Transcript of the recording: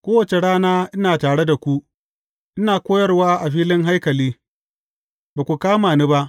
Kowace rana ina tare da ku, ina koyarwa a filin haikali, ba ku kama ni ba.